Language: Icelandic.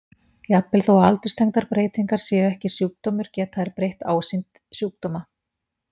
Jafnvel þó að aldurstengdar breytingar séu ekki sjúkdómur geta þær breytt ásýnd sjúkdóma.